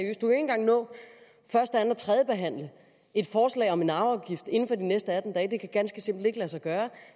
første anden og tredjebehandle et forslag om en arveafgift inden for de næste atten dage det kan ganske simpelt ikke lade sig gøre